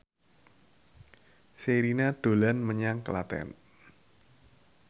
Sherina dolan menyang Klaten